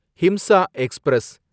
Himsa express